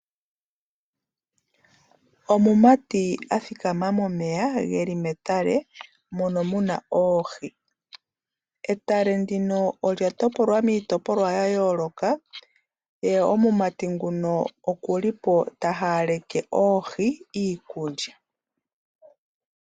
Omumati athikama momeya geli metale, mono muna oohi. Etale ndino olya topolwa miitopolwa ya yooloka , ye omumati nguno oku li po ta haaleke oohi iikulya.